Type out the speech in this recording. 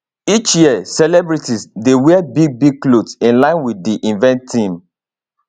each year celebrities dey wear bigbig clothes in line wit di event theme